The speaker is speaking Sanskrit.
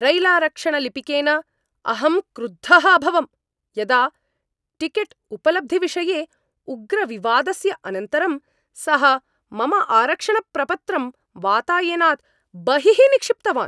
रैलारक्षणलिपिकेन अहं क्रुद्धः अभवं यदा टिकेट्उपलब्धिविषये उग्रविवादस्य अनन्तरं सः मम आरक्षणप्रपत्रं वातायनात् बहिः निक्षिप्तवान्।